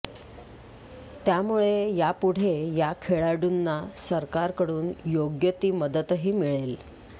त्यामुळे यापुढे या खेळाडूंना सरकारकडून योग्य ती मदतही मिळेल